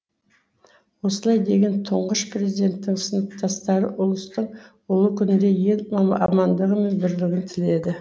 осылай деген тұңғыш президенттің сыныптастары ұлыстың ұлы күнінде ел амандығы мен бірлігін тіледі